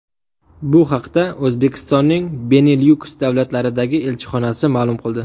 Bu haqda O‘zbekistonning Benilyuks davlatlaridagi elchixonasi ma’lum qildi .